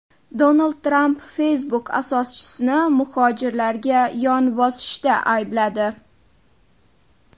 Donald Tramp Facebook asoschisini muhojirlarga yon bosishda aybladi.